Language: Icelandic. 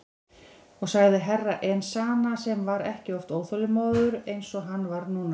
Og sagði Herra Enzana sem var ekki oft óþolinmóður eins og hann var núna.